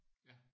Ja